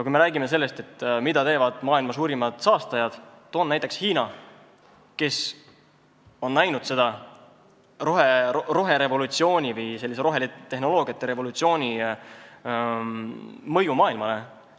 Kui me räägime sellest, mida teevad maailma suurimad saastajad, siis toon näiteks Hiina, kus on näha roherevolutsiooni või rohetehnoloogiate revolutsiooni mõju maailmale.